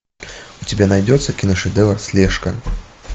у тебя найдется киношедевр слежка